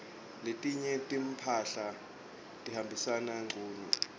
letinye timphahla tihambisana ngcunu